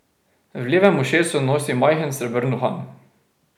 V levem ušesu nosi majhen srebrn uhan.